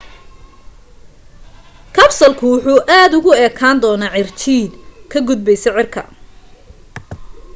kabsalku wuxu aad ugu ekaan doonaa cirjiidh ka gudbaysa cirka